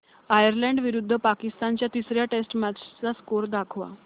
Ireland विरुद्ध पाकिस्तान च्या तिसर्या टेस्ट मॅच चा स्कोअर दाखवा